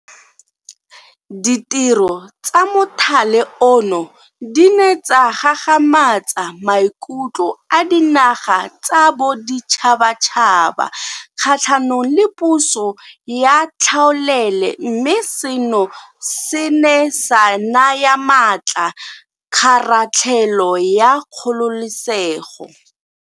Ditiro tsa mothale ono di ne tsa gagamatsa maikutlo a dinaga tsa boditšhabatšhaba kgatlhanong le puso ya tlhaolele mme seno se ne sa naya maatla kgaratlhelo ya kgololesego.